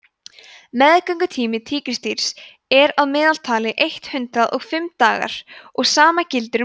meðgöngutími tígrisdýrs er að meðaltali eitt hundruð og fimm dagar og sama gildir um ljón